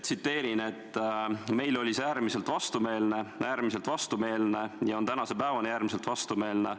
"Meile oli see äärmiselt vastumeelne, äärmiselt vastumeelne ja on tänase päevani äärmiselt vastumeelne.